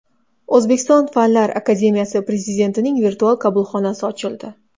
O‘zbekiston Fanlar akademiyasi prezidentining virtual qabulxonasi ochildi.